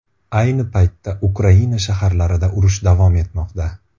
Ayni paytda Ukraina shaharlarida urush davom etmoqda.